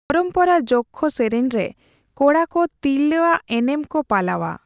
ᱯᱚᱨᱚᱢᱯᱚᱨᱟ ᱡᱚᱠᱠᱷᱚ ᱥᱮᱨᱮᱧᱨᱮ ᱠᱚᱲᱟ ᱠᱚ ᱛᱤᱨᱞᱟᱹ ᱟᱜ ᱮᱱᱮᱢ ᱠᱚ ᱯᱟᱞᱟᱣᱼᱟ ᱾